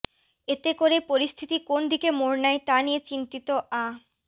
এতে করে পরিস্থিতি কোন দিকে মোড় নেয় তা নিয়ে চিন্তিত আ